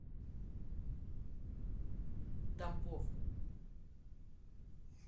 тамбов